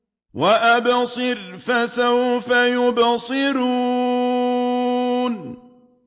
وَأَبْصِرْ فَسَوْفَ يُبْصِرُونَ